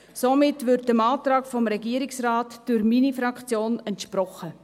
Somit wird dem Antrag des Regierungsrates durch meine Fraktion entsprochen.